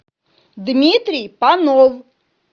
дмитрий панов